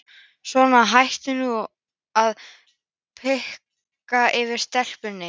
Svona, hættu nú að predika yfir stelpunni.